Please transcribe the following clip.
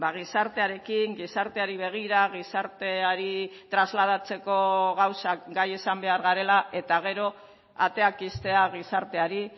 gizartearekin gizarteari begira gizarteari trasladatzeko gauzak gai izan behar garela eta gero ateak ixtea gizarteari